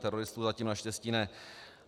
Teroristů zatím naštěstí ne.